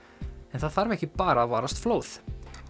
en það þarf ekki bara að varast flóð